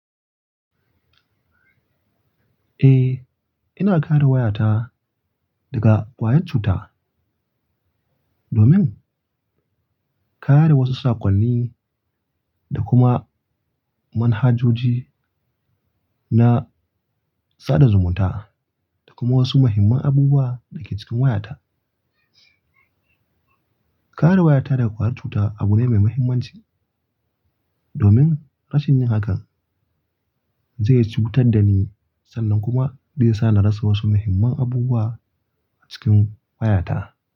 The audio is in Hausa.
Eh, ina kare wayata daga kwayar cuta domin kare wasu saƙonni da kuma manhajoji na sada zumunta da kuma wasu muhimman abubuwa da ke cikin wayata. Kare wayata daga kwayar cuta abu ne mai mahimmanci domin rashin yin hakan zai cutar da ni sannan kuma zai sa na rasa wasu muhimman abubuwa a cikin wayata.